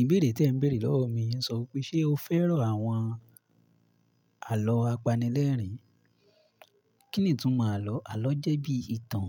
Ìbéèrè tí ẹ ń béèrè lọ́wọ́ mi ń sọ pé ṣe o fẹ́ràn àwọn àlọ́ apanilẹ́rìn? Kínì'túnmo àlọ́? Àlọ́ jẹ́ bí ìtàn,